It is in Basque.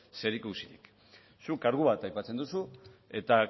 zerikusirik zuk kargu bat aipatzen duzu eta